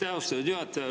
Aitäh, austatud juhataja!